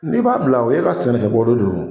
N'i b'a bila o ye e ka sɛnɛfɛ bɔdon do